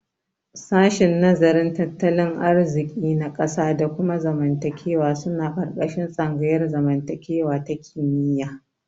Shashin nazarin tattalin arziki ta ƙasa da kuma zamantakewa suna ƙarƙashin tsangayar zamantakewa ta kimiyya.